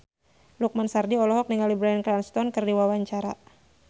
Lukman Sardi olohok ningali Bryan Cranston keur diwawancara